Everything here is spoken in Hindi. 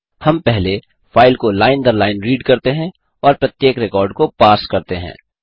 हम पहले फाइल को लाइन दर लाइन रीड करते हैं और प्रत्येक रिकॉर्ड को पार्स करते हैं